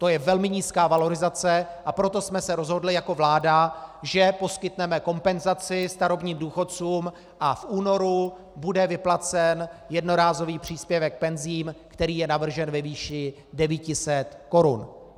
To je velmi nízká valorizace, a proto jsme se rozhodli jako vláda, že poskytneme kompenzaci starobním důchodcům a v únoru bude vyplacen jednorázový příspěvek penzí, který je navržen ve výši 900 korun.